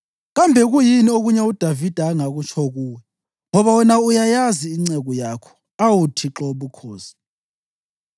Kambe kuyini okunye uDavida angakutsho kuwe? Ngoba wena uyayazi inceku yakho, awu Thixo Wobukhosi.